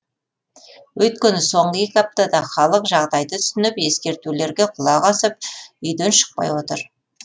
өйткені соңғы екі аптада халық жағдайды түсініп ескертулерге құлақ асып үйден шықпай отыр